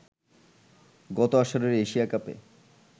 গত আসরের এশিয়া কাপে